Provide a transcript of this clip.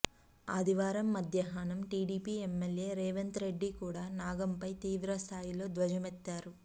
ఆదివారం మధ్యాహ్నం TDP MLA Revanth Reddy కూడా నాగంపై తీవ్రస్థాయిలో ధ్వజమెత్తారు